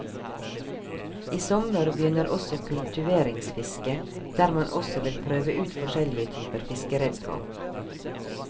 I sommer begynner også kultiveringsfisket der man også vil prøve ut forskjellige typer fiskeredskap.